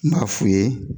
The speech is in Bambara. N b'a f'u ye